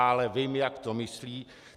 Ale vím, jak to myslí.